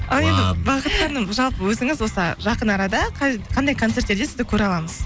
ал енді бақыт ханым жалпы өзіңіз осы жақын арада қандай концерттерде сізді көре аламыз